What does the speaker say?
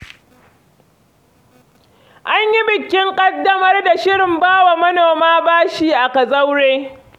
An yi bikin ƙaddamar da shirin ba wa manoma bashi a Kazaure.